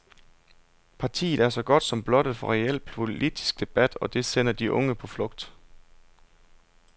Partiet er så godt som blottet for reel politisk debat, og det sender de unge på flugt.